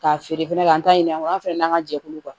K'a feere fɛnɛ k'an ta ɲini an fɛnɛ n'an ka jɛkulu kuwa